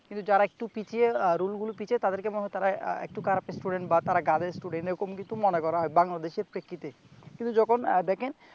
কিন্তু যারা একটু পিছিয়ে রোল গুলু পিছিয়ে তাদেরকে মনে হয় তারা আহ একটু খারাপ স্টুডেন্ট বা তারা গাধা স্টুডেন্ট এরকম কিছু মনে করা হয় বাংলাদেশের প্রেক্ষিতে কিন্তু যখন আহ দেখেন